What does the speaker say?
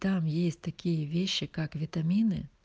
там есть такие вещи как витамины